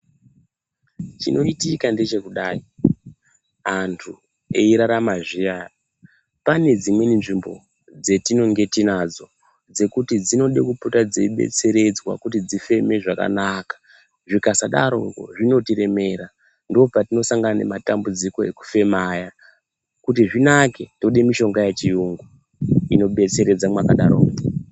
Chinoitika ngechekudai antu eirarama zviya pane dzimweni nzvimbo dzatinenge tinadzo dzekuti dzinoda kupota dzeibetseredzwa kuti dzifeme zvakanaka zvikasadaro zvinotiremera ndopatino sangana nematambudziko ekufema aya kuti zvinake toda mishonga yechiyungu ino betseredza mwakadaro ko.